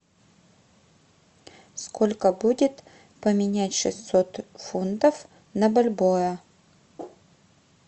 сколько будет поменять шестьсот фунтов на бальбоа